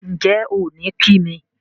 Ǹjẹ́ ò ní kí mi?